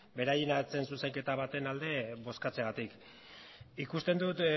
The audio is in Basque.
beraien zuzenketa baten alde bozkatzeagatik ikusten dut